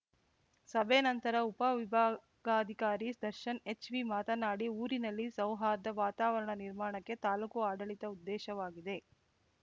ಸಭೆ ನಂತರ ಉಪವಿಭಾಗಾಧಿಕಾರಿ ದರ್ಶನ್‌ ಹೆಚ್‌ವಿ ಮಾತನಾಡಿ ಊರಿನಲ್ಲಿ ಸೌಹಾರ್ದ ವಾತಾವರಣ ನಿರ್ಮಾಣಕ್ಕೆ ತಾಲೂಕು ಆಡಳಿತದ ಉದ್ದೇಶವಾಗಿದೆ